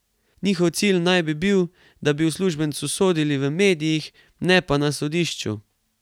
Njihov cilj naj bi bil, da bi uslužbencu sodili v medijih, ne pa na sodišču.